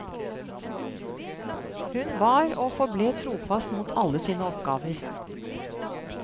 Hun var og forble trofast mot alle sine oppgaver.